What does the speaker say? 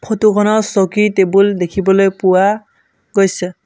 Photo খনত চকী টেবুল দেখিবলৈ পোৱা গৈছে।